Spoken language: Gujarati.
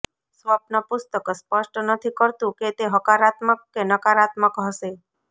સ્વપ્ન પુસ્તક સ્પષ્ટ નથી કરતું કે તે હકારાત્મક કે નકારાત્મક હશે